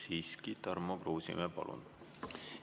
Siiski, Tarmo Kruusimäe, palun!